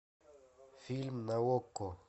фильм на окко